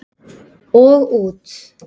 Og út.